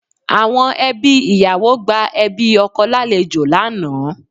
Àwọn ẹbí ìyàwó gba ẹbí ọkọ lálejò lánàá